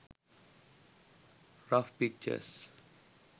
rough pictures